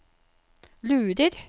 lurer